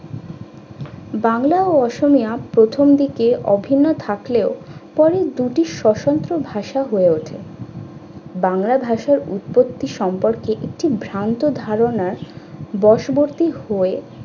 বাংলা ও অসমনাথ প্রথম দিকে অভিন্ন থাকলেও পরে দুটি সতন্ত্র ভাষা হয়ে ওঠে। বাংলা ভাষার একটি ভ্রান্ত ধারণা বশবর্তী হয়ে